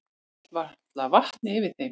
Hélt varla vatni yfir þeim.